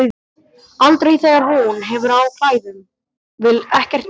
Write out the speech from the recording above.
Aldrei þegar hún hefur á klæðum, vill ekkert gums.